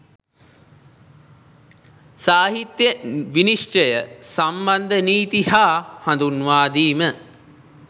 සාහිත්‍ය විනිශ්චය සම්බන්ධ නීති හා හඳුන්වා දීම